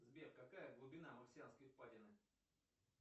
сбер какая глубина марсианской впадины